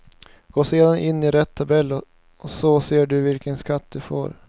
Gå sedan in i rätt tabell och så ser du vilken skatt du får.